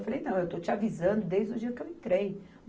Eu falei, não, eu estou te avisando desde o dia que eu entrei.